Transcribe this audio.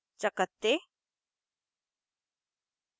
* चकत्ते